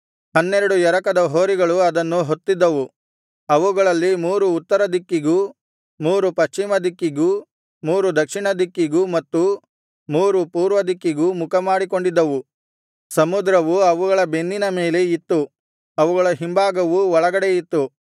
ಹನ್ನೆರಡು ಎರಕದ ಹೋರಿಗಳು ಅದನ್ನು ಹೊತ್ತಿದ್ದವು ಅವುಗಳಲ್ಲಿ ಮೂರು ಉತ್ತರ ದಿಕ್ಕಿಗೂ ಮೂರು ಪಶ್ಚಿಮ ದಿಕ್ಕಿಗೂ ಮೂರು ದಕ್ಷಿಣ ದಿಕ್ಕಿಗೂ ಮತ್ತು ಮೂರು ಪೂರ್ವದಿಕ್ಕಿಗೂ ಮುಖಮಾಡಿಕೊಂಡಿದ್ದವು ಸಮುದ್ರವು ಅವುಗಳ ಬೆನ್ನಿನ ಮೇಲೆ ಇತ್ತು ಅವುಗಳ ಹಿಂಭಾಗವು ಒಳಗಡೆ ಇತ್ತು